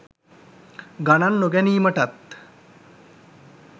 ගණන් නොගැනීමටත්